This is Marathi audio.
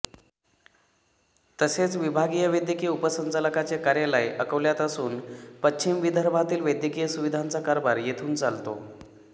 तसेच विभागीय वैद्यकीय उपसंचालकाचे कार्यालय अकोल्यात असून पश्चिम विदर्भातील वैद्यकीय सुविधांचा कारभार येथून चालतो